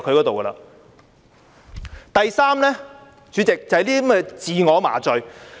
第三，主席，他們是在自我麻醉。